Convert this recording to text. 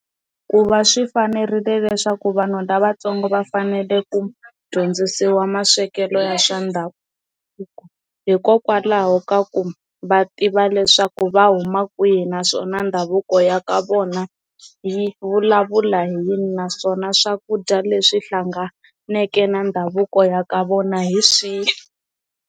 Ku va swi fanerile leswaku vanhu lavatsongo va fanele ku dyondzisiwa maswekelo ya swa ndhavuko hikokwalaho ka ku va tiva leswaku va huma kwihi naswona ndhavuko ya ka vona yi vulavula hi yini naswona swakudya leswi hlanganeke na ndhavuko ya ka vona hi swihi.